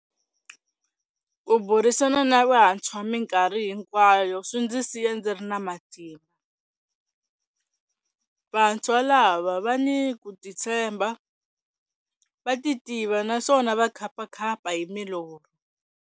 Ku burisana na vantshwa mikarhi hinkwayo swi ndzi siya ndzi ri na matimba. Vantshwa lava va ni ku titshembha, va titiva naswona va khapakhapa hi milorho.